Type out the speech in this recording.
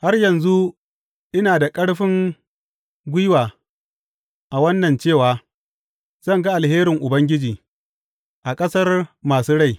Har yanzu ina da ƙarfin gwiwa a wannan cewa zan ga alherin Ubangiji; a ƙasar masu rai.